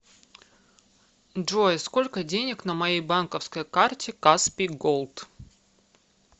джой сколько денег на моей банковской карте каспий голд